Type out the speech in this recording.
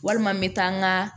Walima n bɛ taa n ka